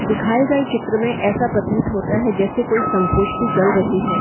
दिखाए गये चित्र मे ऐसा प्रतीत होता हैं जैसे कोई संगोष्ठी चल रही हैं।